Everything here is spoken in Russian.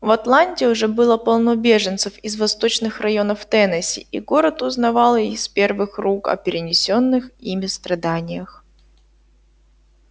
в атланте уже было полно беженцев из восточных районов теннесси и город узнавал из первых рук о перенесённых ими страданиях